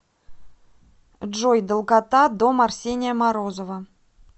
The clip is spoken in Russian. джой долгота дом арсения морозова